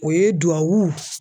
O ye duwawu